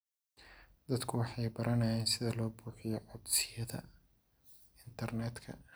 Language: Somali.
Dadku waxay baranayaan sida loo buuxiyo codsiyada internetka.